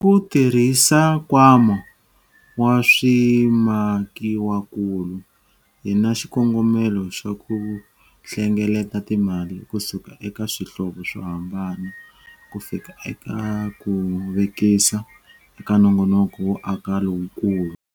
Hi ku tirhisa Nkwama wa Swimakiwakulu hi na xikongomelo xa ku hlengeleta timali kusuka eka swihlovo swo hambana kufika eka ku vekisa eka nongonoko wo aka lowukulu.